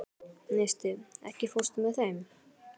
Neisti, ekki fórstu með þeim?